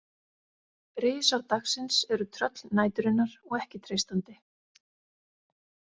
Risar dagsins eru tröll næturinnar og ekki treystandi.